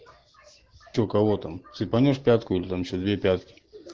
что кого там цепанешь пятку или там ещё две пятки